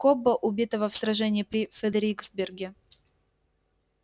кобба убитого в сражении при фредериксберге